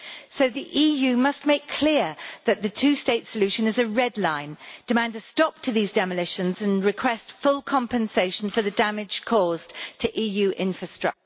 So the EU must make clear that the two state solution is a red line, demand a stop to these demolitions and request full compensation for the damage caused to EU infrastructures.